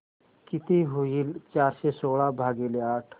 किती होईल चारशे सोळा भागीले आठ